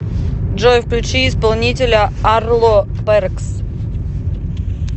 джой включи исполнителя арло пэркс